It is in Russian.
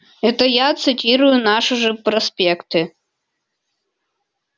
это я цитирую наши же проспекты